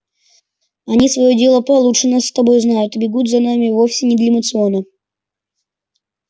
они своё дело получше нас с тобой знают и бегут за нами вовсе не для моциона